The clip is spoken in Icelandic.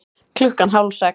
Klukkan hálf sex